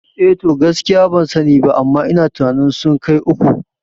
Eh to, gaskiya ban sani ba amma ina tunanin sun kai uku